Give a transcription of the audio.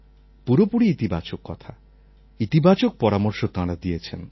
পুরোপুরি ইতিবাচক কথা ইতিবাচক পরামর্শ তাঁরা দিয়েছেন